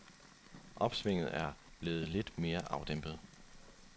Opsvinget er blevet lidt mere afdæmpet.